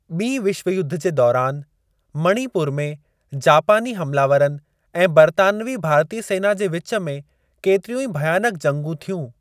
ॿीं विश्व युद्ध जे दौरान, मणिपुर में जापानी हमलावरनि ऐं बरितानिवी भारतीय सेना जे विच में केतिरियूं ई भयानक जंगू थियूं।